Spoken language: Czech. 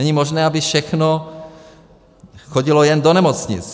Není možné, aby všechno chodilo jen do nemocnic.